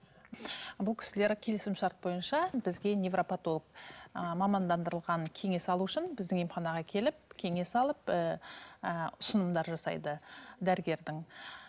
бұл кісілер келісім шарт бойынша бізге невропотолог ііі мамандырылған кеңес алу үшін біздің емханаға келіп кеңес алып ііі ұсынымдар жасайды дәрігердің